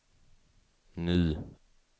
ny